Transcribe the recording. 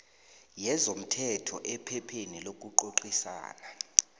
yezomthetho ephepheni lokucocisana